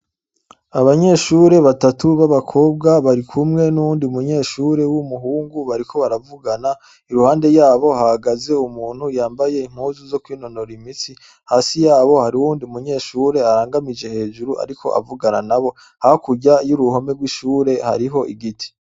Abanyeshure batatu b'abakobwa bari kumwe n'uwundi umunyeshure w'umuhungu bariko baravugana iruhande yabo hagaze umuntu yambaye inkuzu zo kwinonora imitsi hasi yabo hari uwundi umunyeshure arangamije hejuru, ariko avugana na bo hakurya iyo'uruhome rw'ishure hariho igiti.